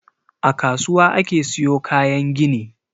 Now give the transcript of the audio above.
A kasuwa ake siyo kayan gini.